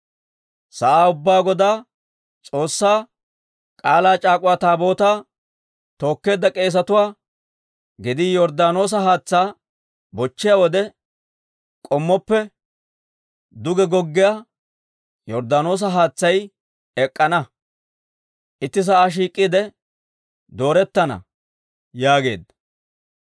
Sa'aa ubbaa Godaa, S'oossaa K'aalaa c'aak'uwa Taabootaa tookkeedda k'eesatuwaa gedii Yorddaanoosa haatsaa bochchiyaa wode, k'ommoppe duge goggiyaa Yorddaanoosa haatsay ek'k'ana; itti sa'aa shiik'iide doorettana» yaageedda.